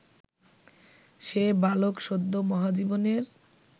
সে বালক সদ্য মহাজীবনের